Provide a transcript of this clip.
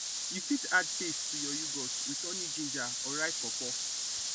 you fit add taste to your yoghurt with honey ginger or ripe pawpaw